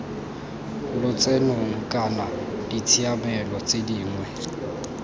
lotsenong kana ditshiamelo tse dingwe